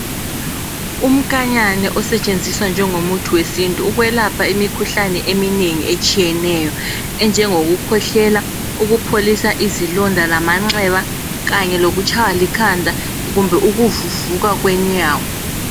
Umnkanyane osetshenziswa njengomuthi wesintu ukwelapha imikhuhlane eminengi etshiyeneyo enjengokukhwehlela lokupholisa izilonda lamanxeba kanye lokutshaywa likhanda kumbe ukuvuvuka kwenyawo.